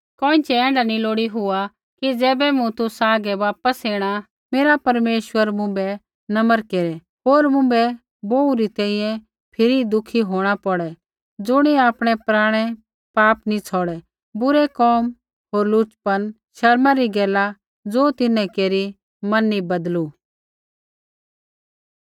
कोइँछ़ै ऐण्ढा नी हो कि ज़ैबै मूँ तुसा हागै वापस ऐणा मेरा परमेश्वर मुँभै नम्र केरै होर मुँभै बोहू री तैंईंयैं फिरी दुःखी होंणा पौड़ै ज़ुणियै आपणै पराणै पाप नैंई छ़ौड़ै बुरै कोम होर लुचपन शर्मा री गैला ज़ो तिन्हैं केरी मन नी बदलू